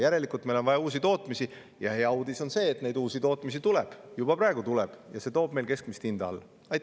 Järelikult on meil vaja uusi tootmisi ja hea uudis on see, et neid uusi tootmisi tuleb – juba praegu tuleb –, ja see toob meil keskmist hinda alla.